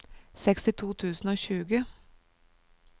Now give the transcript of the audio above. sekstito tusen og tjue